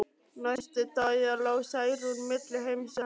Næstu daga lá Særún milli heims og helju.